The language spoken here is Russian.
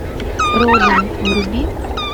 роден вруби